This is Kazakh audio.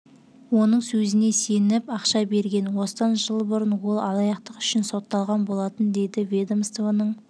оның сөзіне сеніп ақша берген осыдан жыл бұрын ол алаяқтық үшін сотталған болатын дейді ведомствоның